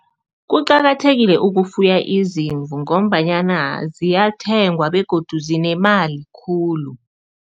Kuqakathekile ukufuya izimvu ngombanyana ziyathengwa begodu zinemali khulu.